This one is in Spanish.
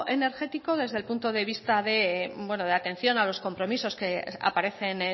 energético desde el punto de vista de atención a los compromisos que aparecen